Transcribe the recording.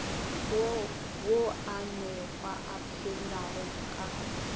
woo moanegwa a phelago ka